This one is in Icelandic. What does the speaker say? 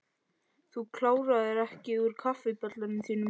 Þú kláraðir ekki úr kaffibollanum þínum.